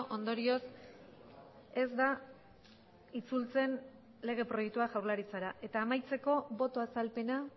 ondorioz ez da itzultzen lege proiektua jaurlaritzara eta amaitzeko boto azalpena